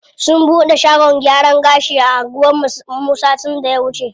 Sun bude shagon gyaran gashi a anguwan mu satin da ya wuce.